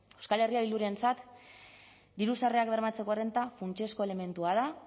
euskal herria bildurentzat diru sarrerak bermatzeko errenta funtsezko elementua da